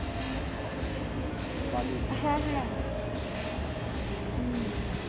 হ্যাঁ হ্যাঁ হুম।